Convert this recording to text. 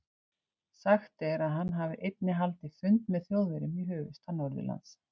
Sagt er, að hann hafi einnig haldið fund með Þjóðverjum í höfuðstað Norðurlands.